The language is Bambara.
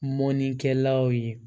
Mɔnikɛlaw ye